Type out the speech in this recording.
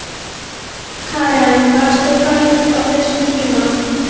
Karen: Varst þú fædd á þessum tíma?